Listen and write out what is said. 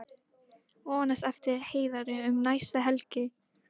Vonast eftir Heiðari um næstu helgi